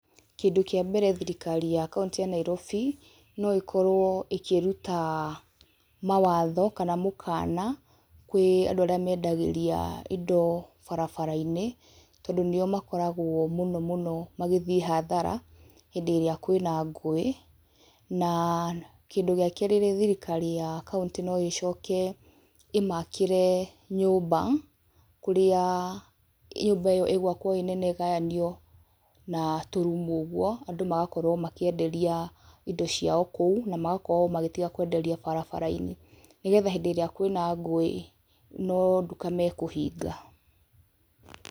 Kĩndũ kĩa mbere thirikari ya kauntĩ ya Nairobi no ĩkorwo ĩkĩruta mawatho kana mũkana kwĩ andũ arĩa mendagĩria indo barabara-inĩ, tondũ nĩo makoragwo mũno mũno magĩthiĩ hathara hĩndĩ ĩrĩa kwĩna ngũĩ. Na, kĩndũ gĩa kerĩ thirikari ya kauntĩ no ĩcoke ĩmakĩre nyũmba, kũrĩa nyũmba ĩyo ĩgwakwo ĩ nene ĩgayanio na tũrumu ũguo, andũ magakorwo makĩenderia indo ciao kũu na magakorwo magĩtiga kwenderia barabara-inĩ nĩgetha hĩndĩ ĩrĩa kwĩna ngũĩ, no nduka mekũhinga.